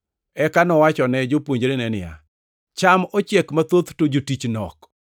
Eka nowachone jopuonjrene niya, “Cham ochiek mathoth to jotich nok.